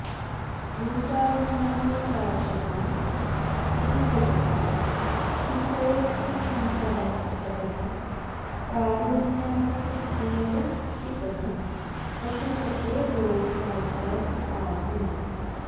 भूतानामवकाशदं त्रिजगतां शीतोष्णशङ्कास्पदः कारुण्याकर भोः पितः पशुपते दोषाकरं पाहि माम्